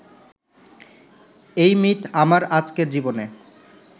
এই মিথ আমার আজকের জীবনে